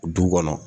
Du kɔnɔ